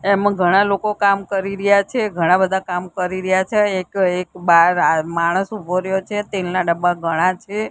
એમ ઘણા લોકો કામ કરી રહ્યા છે ઘણા બધા કામ કરી રહ્યા છે એક એક બાર માણસ ઉભો રહ્યો છે તેલના ડબ્બા ઘણા છે.